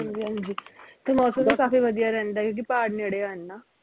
ਹਾਂਜੀ ਹਾਂਜੀ ਤੇ ਮੌਸਮ ਵੀ ਕਾਫੀ ਵਧੀਆ ਰਹਿੰਦਾ ਕਿਉਕਿ ਪਹਾੜ ਨੇੜੇ ਆ